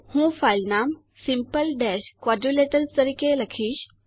હું ફાઇલ નામ simple quadrilateral તરીકે લખીશ